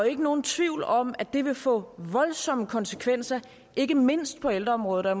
ikke nogen tvivl om at det vil få voldsomme konsekvenser ikke mindst på ældreområdet og